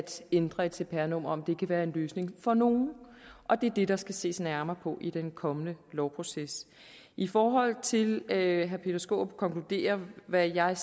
ændre et cpr nummer kan være en løsning for nogle og det er det der skal ses nærmere på i den kommende lovproces i forhold til at herre peter skaarup konkluderer hvad jeg